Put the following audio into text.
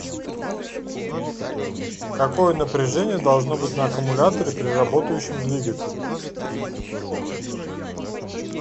какое напряжение должно быть на аккумуляторе при работающем двигателе